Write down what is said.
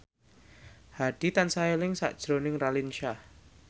Hadi tansah eling sakjroning Raline Shah